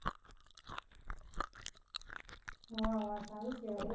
વાહ વાહ સારુ કેવાય હો